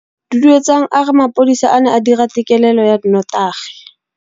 Duduetsang a re mapodisa a ne a dira têkêlêlô ya nnotagi.